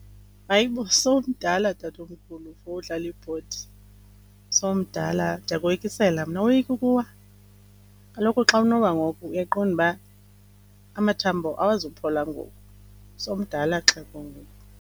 Hayibo! Sowumdala tatomkhulu for udlala ibhodi, sowumdala. Ndiyakoyikisela mna. Awoyiki ukuwa? Kaloku xa unowa ngoku uyaqonda uba amathambo awazuphola ngoku, sowumdala xhego ngoku.